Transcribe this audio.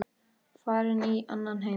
Farin í annan heim.